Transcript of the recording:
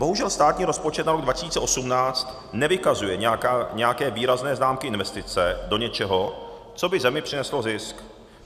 Bohužel státní rozpočet na rok 2018 nevykazuje nějaké výrazné známky investice do něčeho, co by zemi přineslo zisk.